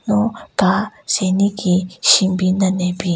Lo ka syeniki shenbin den ne bin.